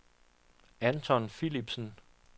Anton Philipsen